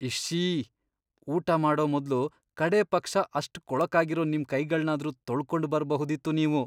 ಇಶ್ಶೀ! ಊಟ ಮಾಡೋ ಮೊದ್ಲು ಕಡೇಪಕ್ಷ ಅಷ್ಟ್ ಕೊಳಕಾಗಿರೋ ನಿಮ್ ಕೈಗಳ್ನಾದ್ರೂ ತೊಳ್ಕೊಂಡ್ ಬರ್ಬಹುದಿತ್ತು ನೀವು.